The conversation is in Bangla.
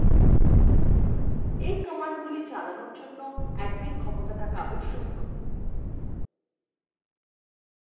এই commandsগুলি চালানোর জন্য admin ক্ষমতা থাকা আবশ্যক